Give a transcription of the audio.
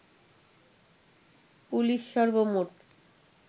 police সর্বমোট